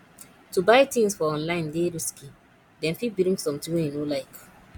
to buy tins for online dey risky dem fit bring sometin wey you no like